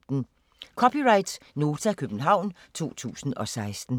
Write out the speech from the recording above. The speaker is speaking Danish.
(c) Nota, København 2016